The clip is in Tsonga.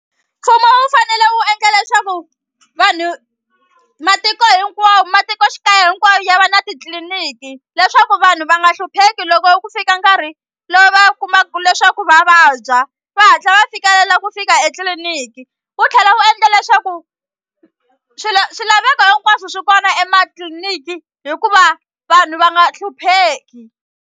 Mfumo wu fanele wu endla leswaku vanhu matiko hinkwawo matikoxikaya hinkwayo ya va na titliliniki leswaku vanhu va nga hlupheki loko ku fika nkarhi lowu va kumaku leswaku va vabya va hatla va fikelela ku fika etliliniki wu tlhela wu endla leswaku swilaveko hinkwaswo swi kona ematliliniki hikuva vanhu va nga hlupheki.